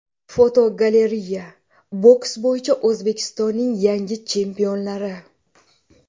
Fotogalereya: Boks bo‘yicha O‘zbekistonning yangi chempionlari.